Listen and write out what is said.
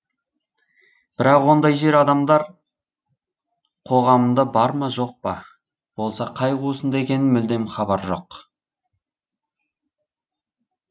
бірақ ондай жер адамдар қоғамында бар ма жоқ па болса қай қуысында екенін мүлдем хабар жоқ